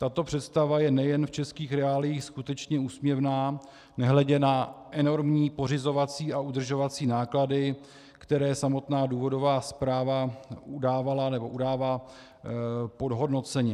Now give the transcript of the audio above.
Tato představa je nejen v českých reáliích skutečně úsměvná, nehledě na enormní pořizovací a udržovací náklady, které samotná důvodová zpráva udávala nebo udává podhodnoceně.